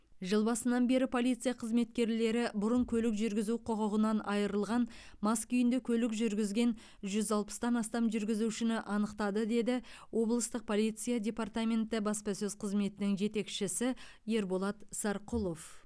жыл басынан бері полиция қызметкерлері бұрын көлік жүргізу құқығынан айырылған мас күйінде көлік жүргізген жүз алпыстан астам жүргізушіні анықтады дедіоблыстық полиция департаменті баспасөз қызметінің жетекшісі ерболат сарқұлов